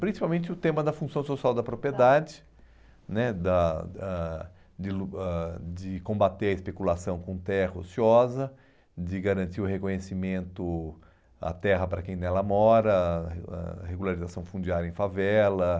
Principalmente o tema da função social da propriedade, ãh, né da ãh de ãh de combater a especulação com terra ociosa, de garantir o reconhecimento à terra para quem nela mora, a re ãh regularização fundiária em favela...